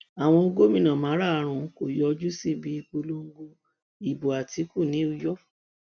àwọn gómìnà márùnún kò yọjú síbi ìpolongo ìbò àtìkù ní uyọ